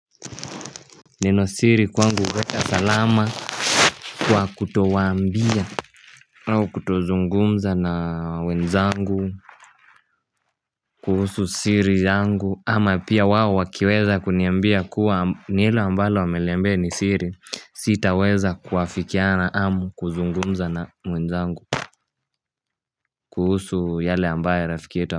Nino siri kwangu huweka salama kwa kutowaambia au kutozungumza na wenzangu kuhusu siri yangu ama pia wao wakiweza kuniambia kuwa neno ambalo ameniambia ni siri sitaweza kuwafikiana amu kuzungumza na mwenzangu kuhusu yale ambaye rafiki yetu.